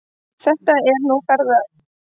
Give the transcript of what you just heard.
Þetta er nú mín félagsráðgjöf.